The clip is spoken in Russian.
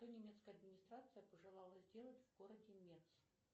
что немецкая администрация пожелала сделать в городе нец